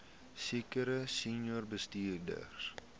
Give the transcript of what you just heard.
sekere senior bestuurders